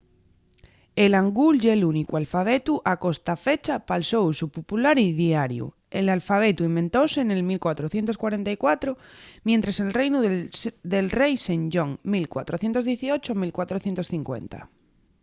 el hangul ye l'únicu alfabetu a costafecha pal so usu popular y diariu. l'alfabetu inventóse nel 1444 mientres el reinu del rei sejong 1418–1450